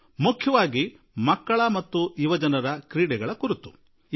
ವಿಶೇಷವಾಗಿ ಮಕ್ಕಳು ಹಾಗೂ ಯುವಕರು ಕ್ರೀಡೆ ಕುರಿತು ಆಸಕ್ತಿ ತೋರುವ ಬಗ್ಗೆ